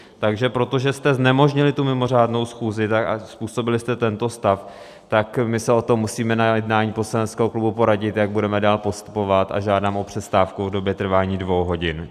Takže protože jste znemožnili tu mimořádnou schůzi a způsobili jste tento stav, tak my se o tom musíme na jednání poslaneckého klubu poradit, jak budeme dál postupovat, a žádám o přestávku v době trvání dvou hodin.